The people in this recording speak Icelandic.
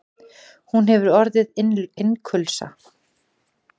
Hún hefur orðið innkulsa.